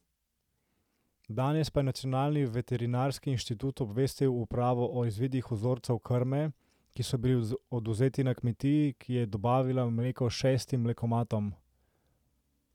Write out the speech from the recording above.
Danes pa je nacionalni veterinarski inštitut obvestil upravo o izvidih vzorcev krme, ki so bili odvzeti na kmetiji, ki je dobavila mleko šestim mlekomatom.